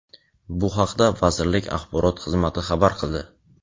Bu haqida vazirlik Axborot xizmati xabar qildi.